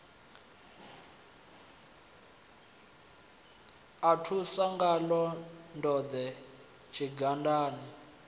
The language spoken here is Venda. a ṱusa ngaḽo ndode tshidangani